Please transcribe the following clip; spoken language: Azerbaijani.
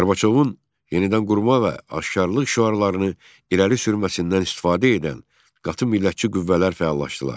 Qorbaçovun yenidən qurma və aşkarlıq şüarlarını irəli sürməsindən istifadə edən qatı millətçi qüvvələr fəallaşdılar.